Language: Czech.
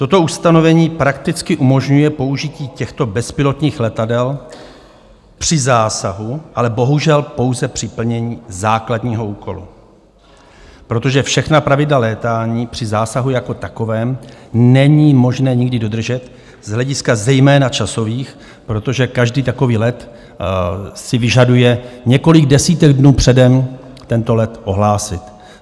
Toto ustanovení prakticky umožňuje použití těchto bezpilotních letadel při zásahu, ale bohužel pouze při plnění základního úkolu, protože všechna pravidla létání při zásahu jako takovém není možné nikdy dodržet z hlediska zejména časových, protože každý takový let si vyžaduje několik desítek dnů předem tento let ohlásit.